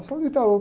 Eu sou do Itaú.